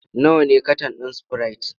Nawa ne katan ɗin sprite?